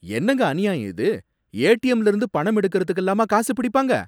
என்னங்க அநியாயம் இது! ஏடிஎம்ல இருந்து பணம் எடுக்கிறதுக்கெல்லாமா காசு பிடிப்பாங்க!